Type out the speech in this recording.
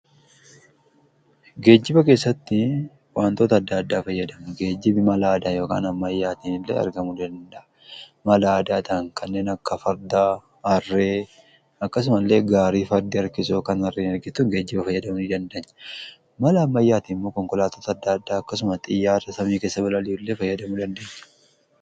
Geejjiba keessatti waantoota adda addaa fayyadamu. geejjibi mala aadaa yookiin Ammayyaatiin illee argamuu danda'a mala aadaa kan ta'an kanneen akka fardaa harree akkasuma illee gaarii fardii harkisu fi kan harreen harkiftu geejjiba aadaa jennee fayyadamu ni dandeenyaa. mala ammayyaatiin immoo konkolaattoota adda addaa akkasuma xiyyaara samii keessa bilali'u fayyadamu dandanya.